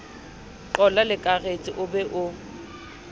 qolla leakaretsi o be o